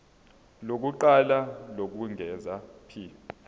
lokuqala lokwengeza p